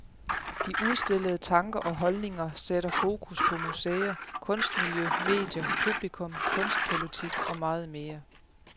De udstillede tanker og holdninger sætter fokus på museer, kunstmiljø, medier, publikum, kunstpolitik og meget mere.